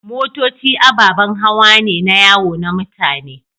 Motoci ababen hawa ne na yawo na mutane.